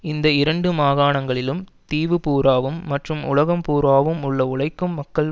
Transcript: இந்த இரண்டு மாகாணங்களிலும் தீவு பூராவும் மற்றும் உலகம் பூராகவும் உள்ள உழைக்கும் மக்கள்